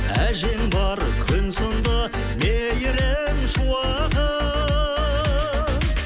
әжең бар күн сынды мейірім шуағы